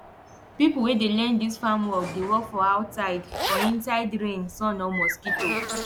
pipo wey dey learn dis farm work dey work for outside for inside rain sun or mosquito